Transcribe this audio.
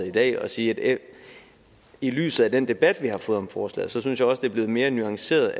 i dag og sige at i lyset af den debat vi har fået om forslaget synes jeg også det er blevet mere nuanceret